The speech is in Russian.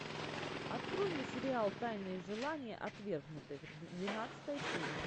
открой мне сериал тайные желания отвергнутых двенадцатая серия